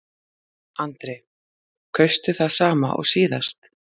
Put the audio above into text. Andri: Kaustu það sama og síðast?